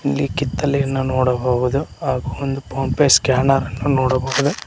ಇಲ್ಲಿ ಕಿತ್ತಲೆಯನ್ನ ನೋಡಬಹುದು ಹಾಗು ಒಂದು ಪೋನ್ ಪೆ ಸ್ಕ್ಯಾನರ್ ಅನ್ನು ನೋಡಬಹುದು.